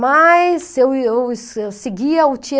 Mas eu eu eu seguia o